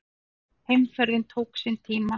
Heimferðin tók sinn tíma.